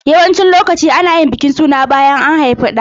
Yawancin lokaci ana yin bikin suna bayan an haifi ɗa.